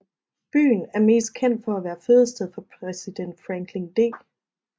Byen er mest kendt for at være fødested for præsident Franklin D